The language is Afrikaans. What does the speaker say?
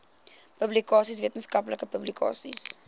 publikasies wetenskaplike publikasies